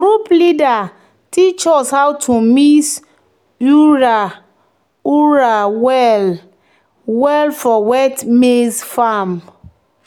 "group leader teach us how to mix urea urea well-well for wet maize farm."